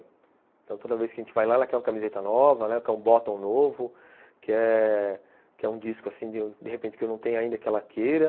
Então, toda vez que a gente vai lá, ela quer uma camiseta nova, né, quer um botton novo, quer um disco, assim, de repente, que eu não tenho ainda, que ela queira.